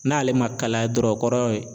N'ale ma kalaya dɔrɔn kɔrɔ ye